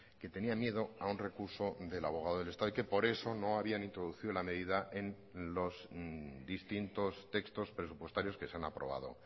que tenía miedo a un recurso del abogado del estado y que por eso no habían introducido la medida en los distintos textos presupuestarios que se han aprobado